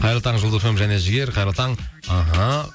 қайырлы таң жұлдыз фм және жігер қайырлы таң іхі